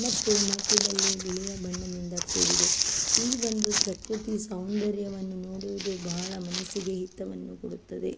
ಮತ್ತು ಮಧ್ಯದಲ್ಲಿ ಬಿಳಿಯ ಬಣ್ಣದಿಂದ ಕೂಡಿದೆ ಈ ಒಂದು ಪೃಕೃತಿ ಸೌಂದರ್ಯವನ್ನು ನೋಡುವುದು ಬಹಳ ಮನಸಿಗೆ ಹಿತವನ್ನು ಕೊಡುತ್ತದೆ.